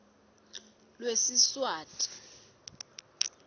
lwesiswati